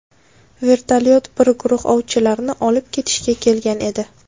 Vertolyot bir guruh ovchilarni olib ketishga kelgan edi.